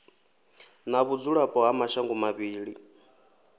na vhudzulapo ha mashango mavhili